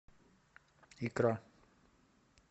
икра